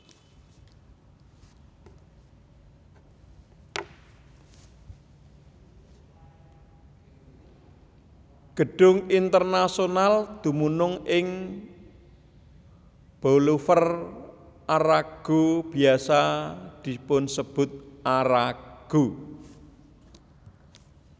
Gedung Internasional dumunung ing Boulevard Arago biasa dipunsebut Arago